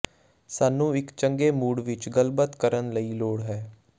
ਸਾਨੂੰ ਇੱਕ ਚੰਗੇ ਮੂਡ ਵਿਚ ਗੱਲਬਾਤ ਕਰਨ ਲਈ ਲੋੜ ਹੈ